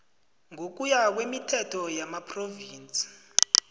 ngokuya kwemithetho yamaphrovinsi